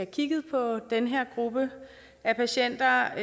kigget på den her gruppe af patienter